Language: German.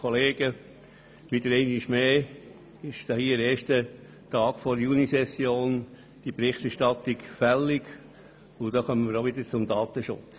Einmal mehr ist am ersten Tag der Junisession die Berichterstattung fällig, namentlich auch jene des Datenschutzes.